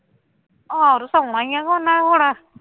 ਆਹੋ ਸ਼ੋਣਾ ਹੀ ਹੈ ਇਹਨਾ ਹੁਣ